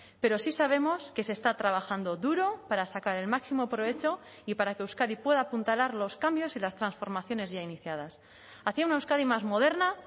pero sí sabemos que se está trabajando duro para sacar el máximo provecho y para que euskadi pueda apuntalar los cambios y las transformaciones ya iniciadas hacia una euskadi más moderna